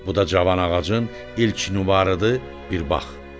Bu da cavan ağacın ilk nübarıdır, bir bax.